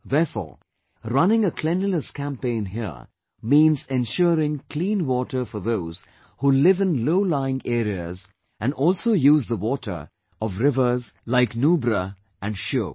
Therefore, running a cleanliness campaign here means ensuring clean water for those who live in lowlying areas and also use the water of rivers like Nubra and Shyok